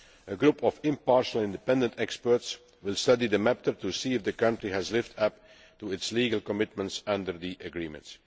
A group of impartial and independent experts will study the matter to see if the country has lived up to its legal commitments under the agreement.